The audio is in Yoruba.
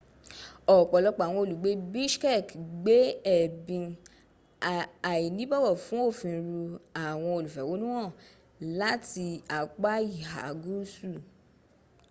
ọpọlọpọ awọn olugbe bishkek gbe ẹbin ainibowo fun ofin ru awọn olufehonuhan lati apa iha guusu